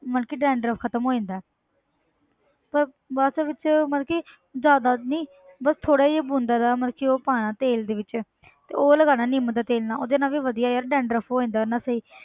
ਮਤਲਬ ਕਿ dandruff ਖ਼ਤਮ ਹੋ ਜਾਂਦਾ ਹੈ ਪਰ ਬਸ ਵਿੱਚ ਮਤਲਬ ਕਿ ਜ਼ਿਆਦਾ ਨੀ ਬਸ ਥੋੜ੍ਹਾ ਜਿਹਾ ਬੂੰਦਾਂ ਦਾ ਮਤਲਬ ਕਿ ਉਹ ਪਾਉਣਾ ਤੇਲ ਦੇ ਵਿੱਚ ਤੇ ਉਹ ਲਗਾਉਣਾ ਨਿੰਮ ਦੇ ਤੇਲ ਨਾਲ ਉਹਦੇ ਨਾਲ ਵੀ ਵਧੀਆ ਯਾਰ dandruff ਹੋ ਜਾਂਦਾ ਉਹਦੇ ਨਾਲ ਸਹੀ।